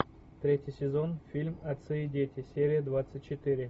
третий сезон фильм отцы и дети серия двадцать четыре